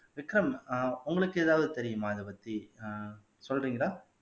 விக்ரம் ஆஹ் உங்களுக்கு ஏதாவது தெரியுமா இதப்பத்தி ஆஹ் சொல்றீங்களா